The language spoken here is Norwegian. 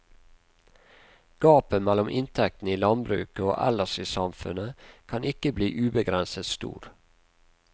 Gapet mellom inntektene i landbruket og ellers i samfunnet kan ikke bli ubegrenset stor.